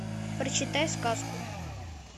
прочитай сказку